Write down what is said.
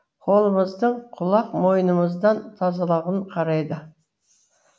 қолымыздың құлақ мойнымыздың тазалығын қарайды